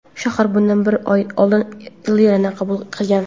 Shahar bundan bir yil oldin lirani qabul qilgan.